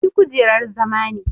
Ni kujerar zama ne.